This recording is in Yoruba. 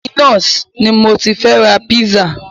Dominos ni mo ti fẹ́ ra pizza.